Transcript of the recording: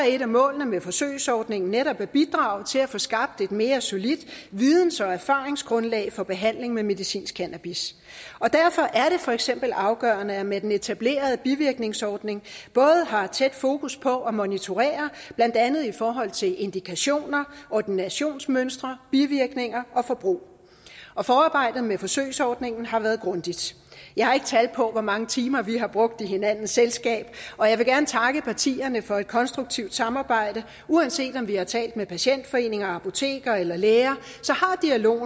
et af målene med forsøgsordningen netop at bidrage til at få skabt et mere solidt videns og erfaringsgrundlag for behandling med medicinsk cannabis og derfor er det for eksempel afgørende at man med den etablerede bivirkningsordning har tæt fokus på at monitorere blandt andet i forhold til indikationer ordinationsmønstre bivirkninger og forbrug forarbejdet med forsøgsordningen har været grundigt jeg har ikke tal på hvor mange timer vi har brugt i hinandens selskab og jeg vil gerne takke partierne for et konstruktivt samarbejde uanset om vi har talt med patientforeninger apoteker eller læger